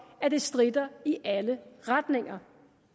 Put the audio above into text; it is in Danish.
at det stritter i alle retninger